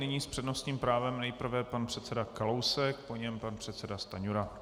Nyní s přednostním právem nejprve pan předseda Kalousek, po něm pan předseda Stanjura.